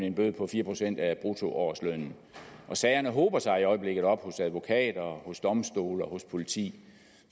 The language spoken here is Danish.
en bøde på fire procent af bruttoårslønnen sagerne hober sig i øjeblikket op hos advokater hos domstole og hos politi